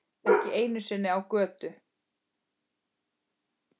Ekki einu sinni á götu.